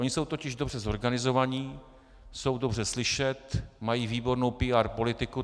Oni jsou totiž dobře zorganizovaní, jsou dobře slyšet, mají výbornou PR politiku.